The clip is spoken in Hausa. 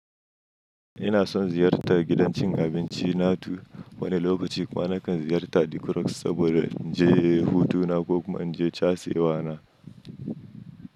Ina son ziyartar gidan cin abinci na tu wani lokaci kuma nakan ziyarta The Crocs saboda in je hutu na ko kuma in je casir na.